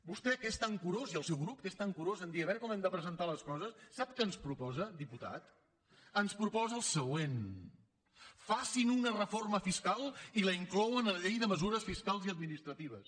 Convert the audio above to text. vostè que és tan curós i el seu grup que és tan curós en dir a veure com hem de presentar les coses sap què ens proposa diputat ens proposa el següent facin una reforma fiscal i la inclouen en la llei de mesures fiscals i administratives